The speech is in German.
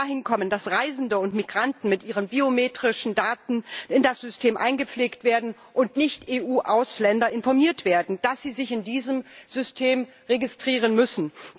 Wir müssen dahin kommen, dass Reisende und Migranten mit ihren biometrischen Daten in das System eingepflegt werden und Nicht EU Ausländer informiert werden, dass sie sich in diesem System registrieren müssen.